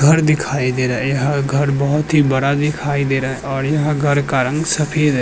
घर दिखाई दे रहा है यह घर बहोत ही बड़ा दिखाई दे रहा है और यह घर का रंग सफेद है।